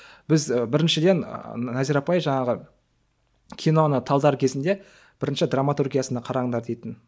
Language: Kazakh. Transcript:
біз біріншіден назира апай жаңағы киноны талдар кезінде бірінші драматургиясына қараңдар дейтін